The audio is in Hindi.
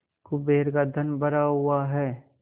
कुबेर का धन भरा हुआ है